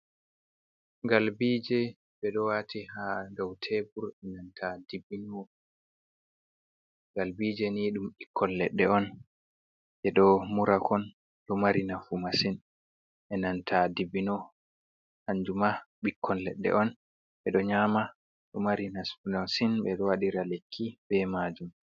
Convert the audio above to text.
Ngalbije ɓeɗo wati ha dow tebur benanta dibino, ngalbije ni ɗum ɓikkon leɗɗe on je ɗo murakon ɗo mari nafu masin, e nanta dibbino kanjuma ɓikkon leɗɗe on ɓeɗo nyama ɗo mari nafi masin ɓeɗo waɗra lekki be majum.